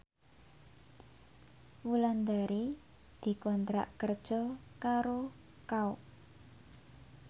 Wulandari dikontrak kerja karo Kao